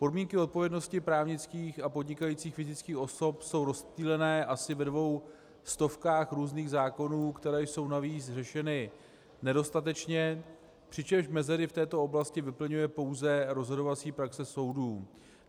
Podmínky odpovědnosti právnických a podnikajících fyzických osob jsou rozptýleny asi ve dvou stovkách různých zákonů, které jsou navíc řešeny nedostatečně, přičemž mezery v této oblasti vyplňuje pouze rozhodovací praxe soudů.